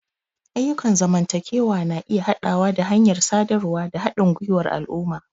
Ayyukan zamantakewa na iya haɗawa da hanyar sadarwa da haɗin gwiwar al'umma.